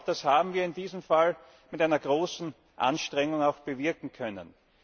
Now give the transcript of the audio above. Und das haben wir in diesem Fall mit einer großen Anstrengung auch bewirken können.